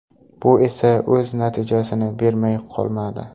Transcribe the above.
Bu esa o‘z natijasini bermay qolmadi.